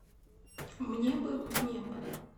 мне бы в небо